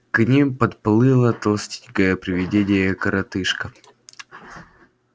к ним подплыло толстенькое привидение коротышка